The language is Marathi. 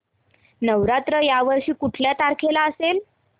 नवरात्र या वर्षी कुठल्या तारखेला असेल